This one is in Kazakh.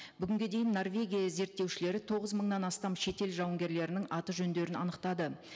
бүгінге дейін норвегия зерттеушілері тоғыз мыңнан астам шетел жауынгерлерінің аты жөндерін анықтады